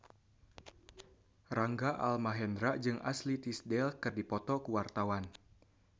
Rangga Almahendra jeung Ashley Tisdale keur dipoto ku wartawan